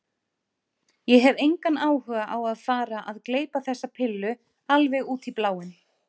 Ég hef engan áhuga á að fara að gleypa þessa pillu alveg út í bláinn.